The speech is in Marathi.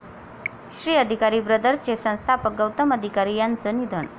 'श्री अधिकारी ब्रदर्स'चे संस्थापक गौतम अधिकारी यांचं निधन